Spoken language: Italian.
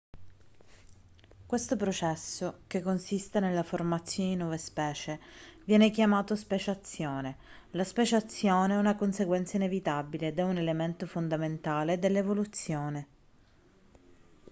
questo processo che consiste nella formazione di nuove specie viene chiamato speciazione la speciazione è una conseguenza inevitabile ed è un elemento fondamentale dell'evoluzione